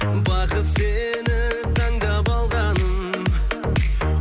бақыт сені таңдап алған